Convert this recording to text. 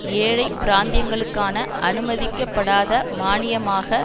ஏழை பிராந்தியங்களுக்கான அனுமதிக்கப்படாத மானியமாக